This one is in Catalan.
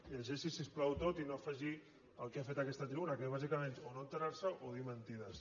llegeixiho si us plau tot i no faci el que ha fet en aquesta tribuna que és bàsicament no assabentarse’n o dir mentides